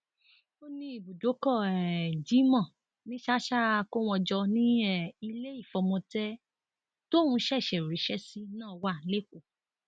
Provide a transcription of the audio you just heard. ó ní ibùdókọ um jimoh ní ṣàṣà akówóńjọ ni um ilé ìfọmọtẹ tóun ṣẹṣẹ ríṣẹ sí náà wà lẹkọọ